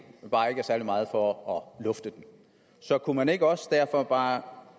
men bare ikke er særlig meget for at lufte den så kunne man ikke også derfor bare